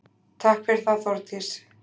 Takk fyrir það Þórdís.